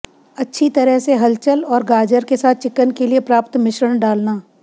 अच्छी तरह से हलचल और गाजर के साथ चिकन के लिए प्राप्त मिश्रण डालना